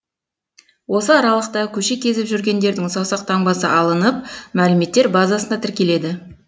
осы аралықта көше кезіп жүргендердің саусақ таңбасы алынып мәліметтер базасына тіркеледі